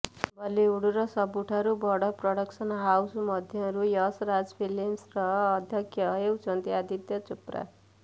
ବଲିଉଡର ସବୁଠାରୁ ବଡ଼ ପ୍ରଡକସନ୍ ହାଉସ୍ ମଧ୍ୟରୁ ୟସ୍ ରାଜ ଫିଲ୍ମସର ଅଧ୍ୟକ୍ଷ ହେଉଛନ୍ତି ଆଦିତ୍ୟ ଚୋପ୍ରା